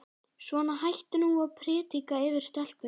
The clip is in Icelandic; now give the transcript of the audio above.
Svona, hættu nú að predika yfir stelpunni.